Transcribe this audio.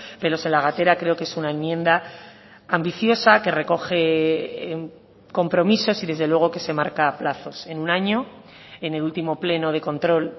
pelos en la gatera creo que es una enmienda ambiciosa que recoge compromisos y desde luego que se marca plazos en un año en el último pleno de control